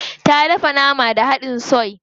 Ta dafa nama da hadin soy.